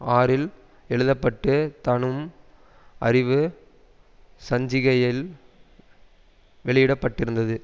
ஆறில் எழுத பட்டு தனும் அறிவு சஞ்சிகையில் வெளியிடப்பட்டிருந்தது